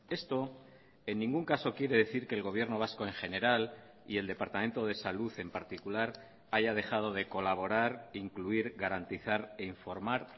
esto en ningún caso quiere decir que el gobierno vasco en general y el departamento de salud en particular haya dejado de colaborar incluir garantizar e informar